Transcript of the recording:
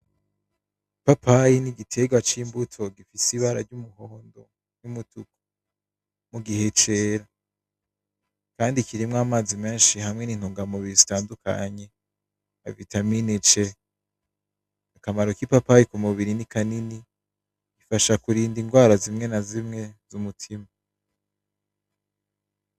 Ipapayi nigiterwa c'imbuto gifise ibara ry'umuhondo numutuku mugihe cera. Kandi kirimwo amazi menshi hamwe n'intungamubiri zitandukanye nka vitamine C. Akamaro kipapayi kumubiri ni kanini. Zifasha kurinda indwara zimwe na zimwe z'umutima.